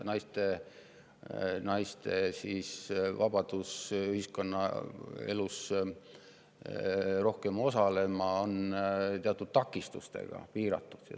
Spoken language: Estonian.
Aga naiste vabadust rohkem ühiskonnaelus osaleda piiravad teatud takistused.